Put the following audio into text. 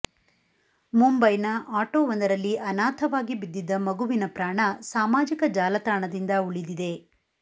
ಮುಂಬೈನ ಆಟೋ ಒಂದರಲ್ಲಿ ಅನಾಥವಾಗಿ ಬಿದ್ದಿದ್ದ ಮಗುವಿನ ಪ್ರಾಣ ಸಾಮಾಜಿಕ ಜಾಲತಾಣದಿಂದ ಉಳಿದಿದೆ